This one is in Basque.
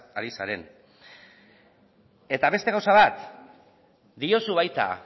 ari zaren eta beste gauza bat diozu baita